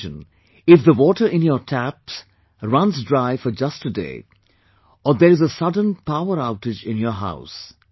Just imagine, if the water in your taps runs dry for just a day, or there is a sudden power outage in your house